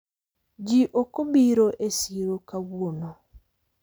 ji okobiro e siro kawuono